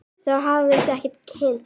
Þá hófust okkar kynni.